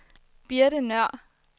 Birte Nøhr